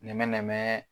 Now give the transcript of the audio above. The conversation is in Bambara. Nɛmɛnɛmɛ